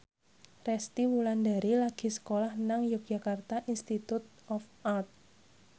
Resty Wulandari lagi sekolah nang Yogyakarta Institute of Art